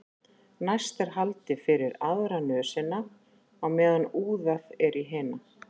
Næst er haldið fyrir aðra nösina á meðan úðað er í hina.